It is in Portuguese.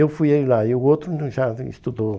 Eu fui lá e o outro já estudou.